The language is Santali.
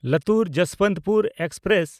ᱞᱟᱛᱩᱨ–ᱡᱚᱥᱵᱚᱱᱛᱯᱩᱨ ᱮᱠᱥᱯᱨᱮᱥ